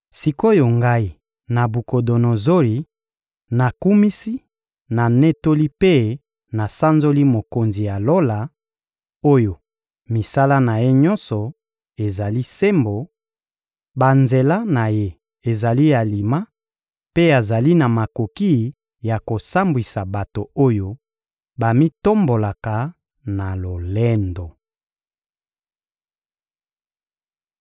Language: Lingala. Sik’oyo ngai Nabukodonozori, nakumisi, nanetoli mpe nasanzoli Mokonzi ya Lola, oyo misala na Ye nyonso ezali sembo, banzela na Ye ezali alima, mpe azali na makoki ya kosambwisa bato oyo bamitombolaka na lolendo.